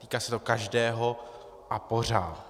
Týká se to každého a pořád.